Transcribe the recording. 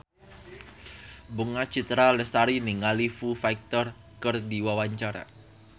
Bunga Citra Lestari olohok ningali Foo Fighter keur diwawancara